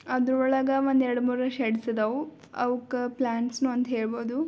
ಅದರ ಒಳಗ ಒಂದು ಎರಡ್ ಮೂರ್ ಶೇಡ್ಸ್ ಅದಾವ ಅವುಕ್ಕ ಪ್ಲಾಂಟ್ಸ್ ನು ಅಂತಾನೂ ಹೇಳಬಹುದು.